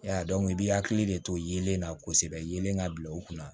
Ya dɔn dɔnku i b'i hakili de to yeelen na kosɛbɛ yelen ka bila u kunna